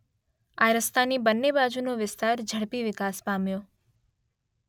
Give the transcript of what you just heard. આ રસ્તાની બંને બાજુનો વિસ્તાર ઝડપી વિકાસ પામ્યો.